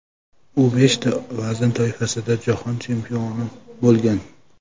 U beshta vazn toifasida jahon chempioni bo‘lgan.